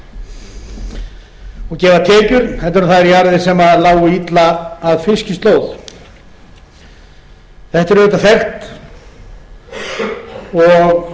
fólk og gefa tekjur heldur en jarðir sem lágu illa að fiskislóð þetta er auðvitað fellt og